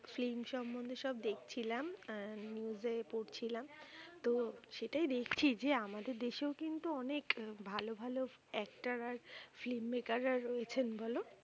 film সম্মন্ধে সব দেখছিলাম আহ news এ পড়ছিলাম। তো সেটাই দেখছি যে আমাদের দেশেও কিন্তু অনেক ভালো ভালো actor আর film maker রা রয়েছেন, বলো।